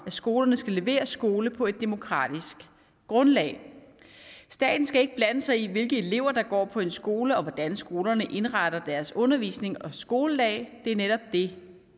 at skolerne skal levere skole på et demokratisk grundlag staten skal ikke blande sig i hvilke elever der går på en skole og hvordan skolerne indretter deres undervisning og skoledag det er netop det